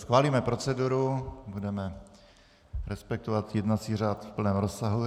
Schválíme proceduru, budeme respektovat jednací řád v plném rozsahu.